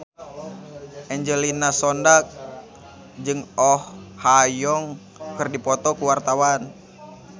Angelina Sondakh jeung Oh Ha Young keur dipoto ku wartawan